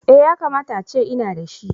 Eh. Yakamata ace ina da shi